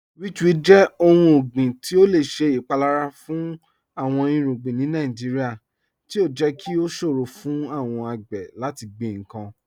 Witchweed jẹ ọ̀hùn ọ̀gbiǹ ti o lẹ ṣẹ ipalara fun awọn irugbin ni Nàìjíríà, ti o jẹ́ kí o ṣòro fun awọn agbè lati gbin nkan.